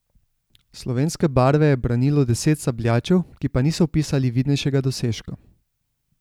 Slovenske barve je branilo deset sabljačev, ki pa niso vpisali vidnejšega dosežka.